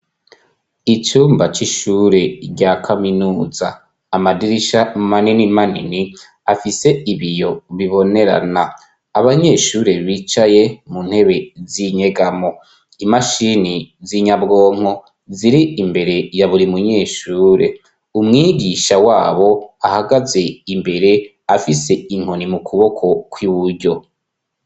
Icumba c'ishure rya kaminuza, amadirisha manini manini afise ibiyo bibonerana, abanyeshure bicaye mu ntebe z'inyegamo, imashini z'inyabwonko ziri imbere ya buri munyeshure, umwigisha wabo ahagaze imbere afise inkoni mu kuboko kw'iburyo.